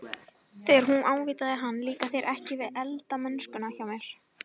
Þegar hún ávítaði hann- Líkar þér ekki við eldamennskuna hjá mér?